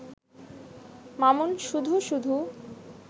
মামুন শুধু শুধু